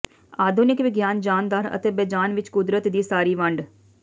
ਆਧੁਨਿਕ ਵਿਗਿਆਨ ਜਾਨਦਾਰ ਅਤੇ ਬੇਜਾਨ ਵਿਚ ਕੁਦਰਤ ਦੀ ਸਾਰੀ ਵੰਡ